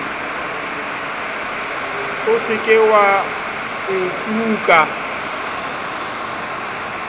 o se ke wa nkuka